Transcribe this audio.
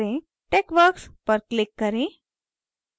texworks पर click करें